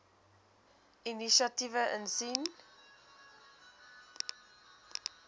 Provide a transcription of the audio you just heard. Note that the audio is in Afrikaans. inisiatiewe insien